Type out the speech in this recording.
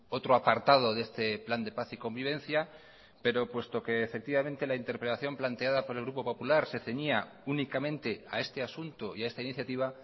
otro apartado de este plan de paz y convivencia pero puesto que efectivamente la interpelación planteada por el grupo popular se ceñía únicamente a este asunto y a esta iniciativa